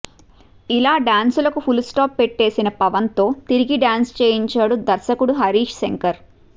ఇలా డాన్స్ లకు full stop పెట్టేసిన పవన్ తో తిరిగి డాన్స్ చేయించాడు దర్శకుడు హరీష్ శంకర్